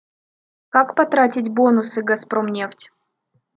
как потратить бонусы газпромнефть